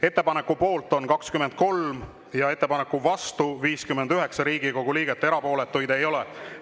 Ettepaneku poolt on 23 ja ettepaneku vastu 59 Riigikogu liiget, erapooletuid ei ole.